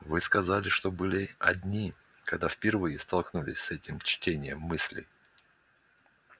вы сказали что были одни когда впервые столкнулись с этим чтением мыслей